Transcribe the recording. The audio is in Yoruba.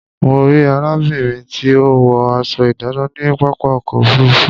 Mo rí arábìnrin tí ó wọ aṣọ ìdánà ní pápá ọkọ̀ òfurufú